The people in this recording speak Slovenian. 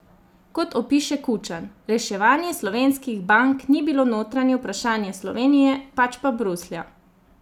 Kot opiše Kučan: "Reševanje slovenskih bank ni bilo notranje vprašanje Slovenije, pač pa Bruslja.